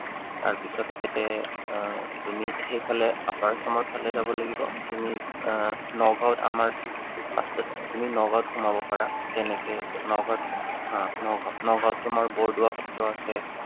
তাৰপিছত ইয়াতে আহ তুমি সেইফালে upper Assam ৰ ফালে যাব লাগিব। তুমি আহ নগাঁৱত আমাৰ first ত তুমি নগাঁৱত সোমাব পাৰা। তেনেকে নগাঁৱত হা নগাওঁ, নগাঁৱত তোমাৰ বৰদোৱা সত্ৰ আছে।